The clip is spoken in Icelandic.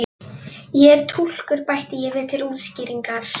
Ég er túlkur bæti ég við til útskýringar.